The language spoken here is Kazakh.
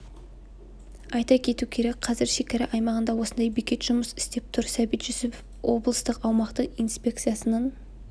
айта кету керек қазір шекара аймағында осындай бекет жұмыс істеп тұр сәбит жүсіпов облыстық аумақтық инспекциясының